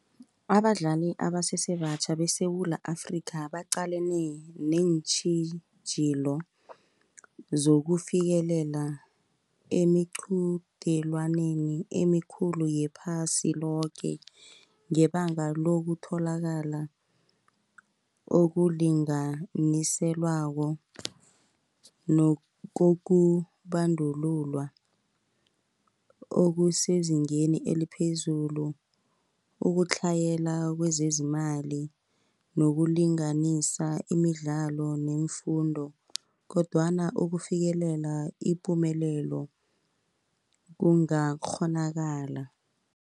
Abadlali abasesebatjha beSewula Afrika baqalene neentjhijilo, zokufikelela emiqudelwaneni emikhulu yephasi loke. Ngebanga lokutholakala okulinganiselwako nokokubandululwa okusezingeni eliphezulu. Ukutlhayela kwezezimali, nokulinganisa imidlalo neemfundo, kodwana ukufikelela ipumelelo kungakghonakala.